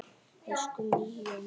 Elsku Míó minn